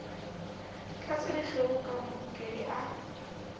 tlatsa dikgeo ka mahokedi a